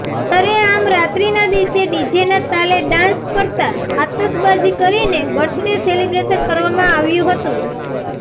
સરેઆમ રાત્રિના દિવસે ડીજેના તાલે ડાન્સ કરતાં આતશબાજી કરીને બર્થ ડે સેલિબ્રેશન કરવામાં આવ્યું હતું